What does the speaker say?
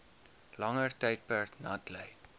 langer tydperk natlei